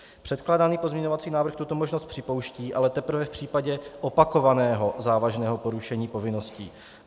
Předkládaný pozměňovací návrh tuto možnost připouští, ale teprve v případě opakovaného závažného porušení povinností.